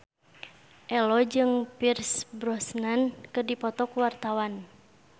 Ello jeung Pierce Brosnan keur dipoto ku wartawan